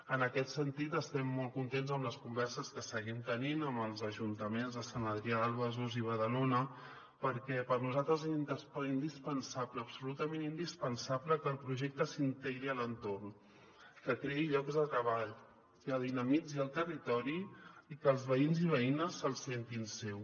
en aquest sentit estem molt contents amb les converses que seguim tenint amb els ajuntaments de sant adrià de besòs i badalona perquè per nosaltres és indispensable absolutament indispensable que el projecte s’integri a l’entorn que creï llocs de treball que dinamitzi el territori i que els veïns i veïnes se’l sentin seu